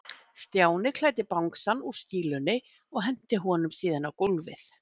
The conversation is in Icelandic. Stjáni klæddi bangsann úr skýlunni og henti honum síðan á gólfið.